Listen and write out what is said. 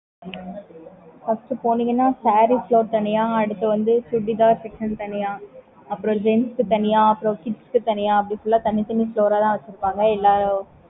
மத்த வேற கடையில தான் எல்லாம்